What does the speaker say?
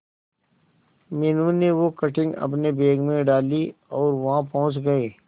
मीनू ने वो कटिंग अपने बैग में डाली और वहां पहुंच गए